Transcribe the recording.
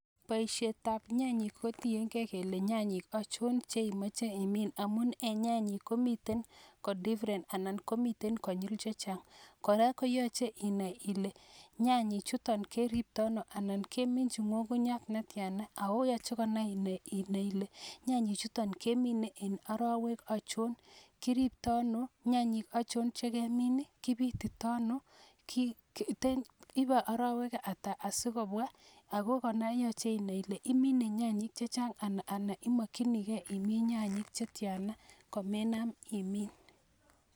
Boisiet ab nyanyik kotieng'e kele nyanyik achon chemoche imin. Amun nyanyik komiten konyil chechang'. Kora koyoche inai ile nyanyichuton keriptoi ano. Anan kiminchin ngungunyat netiana. Ako yoche kora inai ile nyanyichuton kemine en orowek ochon. Kiriptoi ono, nyanyek ochon chekemone, kipititono, ipe orowek ata asikobwa. Ako kora yoche inai ile imine nyanyik chechang' ana imokyinike imin nyanyik chetiana komenam imin.